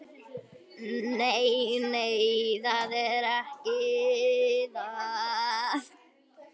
Nei, nei, það er ekki það.